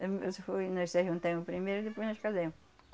Ahn, isso foi, nós se ajuntemos primeiro e depois nós casemos.